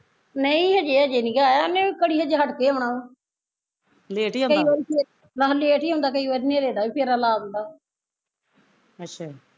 ਨਹੀਂ ਹਜੇ ਹਜੇ ਨੀਗਾ ਆਇਆ ਉਹਨੇ ਘੜੀ ਹਜੇ ਹੱਟ ਕੇ ਆਉਣਾ ਵਾ ਆਹੋ late ਹੀਂ ਆਉਂਦਾ ਕਈ ਵਾਰੀ ਨੇਰੇ ਦਾ ਵੀ ਫੇਰਾ ਲਾ ਦਿੰਦਾ ਵਾ